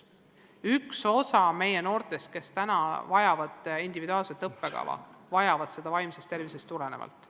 Üks osa meie noortest vajabki individuaalset õppekava, vajab seda vaimsest tervisest tulenevalt.